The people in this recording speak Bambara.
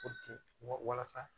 wasa